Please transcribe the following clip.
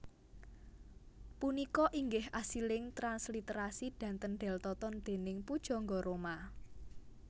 Punika inggih asiling transliterasi dhaten Deltoton déning pujangga roma